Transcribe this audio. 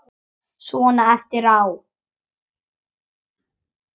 Svona eftir á.